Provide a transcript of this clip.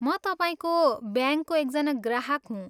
म तपाईँको ब्याङ्कको एकजना ग्राहक हुँ।